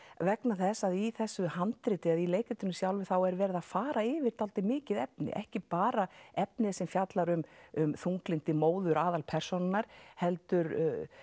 vegna þess að í þessu handriti eða í leikritinu sjálfu þá er verið að fara yfir dálítið mikið efni ekki bara efnið sem fjallar um um þunglyndi móður aðalpersónunnar heldur